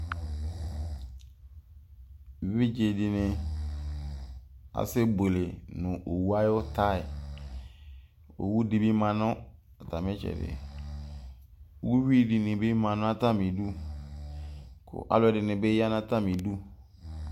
eʋɩɗje ɛɗɩnɩ aƙasɛɓʊele nʊ owʊ aƴʊ anatsɛƙʊ owʊ ɛɗɩnɩ ƴanʊ atamɩtsɛɗɩ ʊƴʊɩ ɛɗɩnɩbɩ ɗʊ mɛ alʊɛɗɩnɩɓɩ aƴanʊ amɩɗʊ